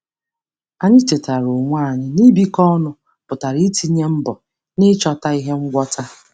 Anyị chetara onwe anyị na ibikọ ọnụ pụtara itinye mbọ n'ịchọta ihe ngwọta.